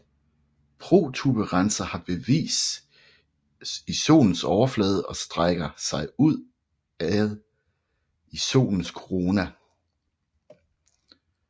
Protuberanser har basis i solens overflade og strækker sig udad i Solens korona